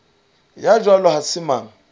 ya jwalo ha se mang